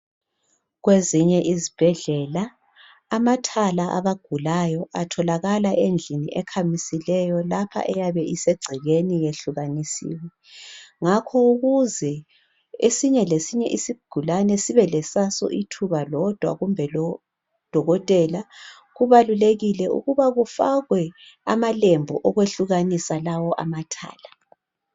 Kwezinye izibhedlela, amathala abagulayo atholakala endlini ekhamisileyo. Lapha eyabe isegcekeni yehlukanisile. Ngakhoke ukuze esinye lesinye isigulane sibe lesaso ithuba lodwa kumbe lo dokotela. Kubalulekile ukuba kufakwe amalembu okwehlukanisa lawo amathala.